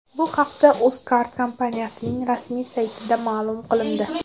Bu haqda Uzcard kompaniyasining rasmiy saytida ma’lum qilindi .